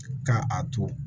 Ka a to